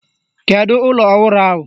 Kedu ụlọ ọhụrụ ahụ?